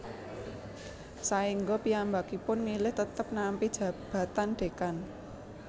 Saengga piyambakipun milih tetep nampi jabatan Dekan